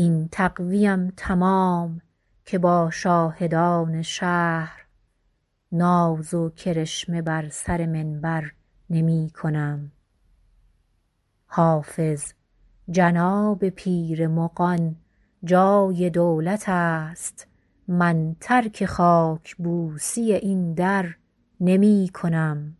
این تقوی ام تمام که با شاهدان شهر ناز و کرشمه بر سر منبر نمی کنم حافظ جناب پیر مغان جای دولت است من ترک خاک بوسی این در نمی کنم